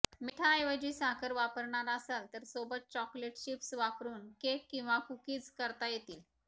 मिठाऐवजी साखर वापरणार असलात तर सोबत चॉकलेट चिप्स वारून केक किंवा कुकीज करता येतील